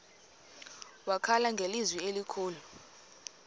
wakhala ngelizwi elikhulu